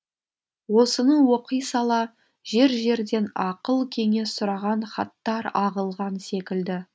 осыны оқи сала жер жерден ақыл кеңес сұраған хаттар ағылған секілді